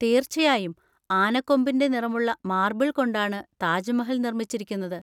തീർച്ചയായും. ആനക്കൊമ്പിന്‍റെ നിറമുള്ള മാർബിൾ കൊണ്ടാണ് താജ്മഹൽ നിർമ്മിച്ചിരിക്കുന്നത്.